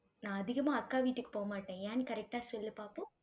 நான் அதிகமா, அக்கா வீட்டுக்கு போக மாட்டேன். ஏன்னு correct ஆ சொல்லு பாப்போம்